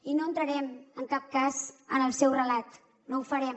i no entrarem en cap cas en el seu relat no ho farem